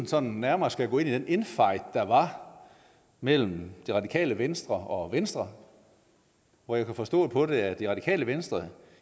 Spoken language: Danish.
sådan nærmere skal gå ind i den infight der var mellem det radikale venstre og venstre hvor jeg kunne forstå på det at det radikale venstre